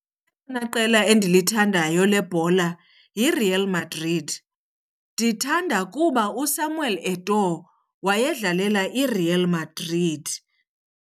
Elona qela endilithandayo lebhola yiReal Madrid. Ndithanda kuba uSamuel Eto'o wayedlalela iReal Madrid.